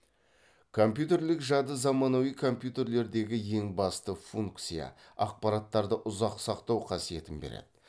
компьютерлік жады замануи компьютерлердегі ең басты функция ақпараттарды ұзақ сақтау қасиетін береді